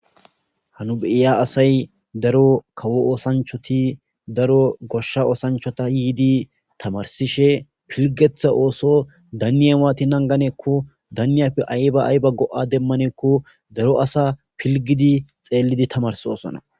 hanu beiya asay daro kawo oosanchoti daro goshsha oosanchota yiidi tamarsishe pilgetha ooso danniye waati nanganeekko daniyappe ayba ayba go7a demmaneekko daro asa pilgidi xeellidi tamars oosona